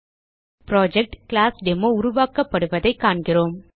project கிளாஸ்டெமோ உருவாக்கப்படுவதைக் காண்கிறோம்